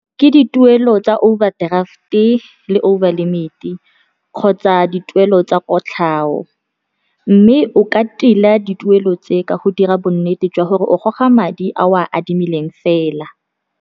Ke dituelo tsa overdraft-e le over limit-e kgotsa dituelo tsa kotlhao, mme o ka tila dituelo tse ka go dira bonnete jwa gore o goga madi a o a adimileng fela.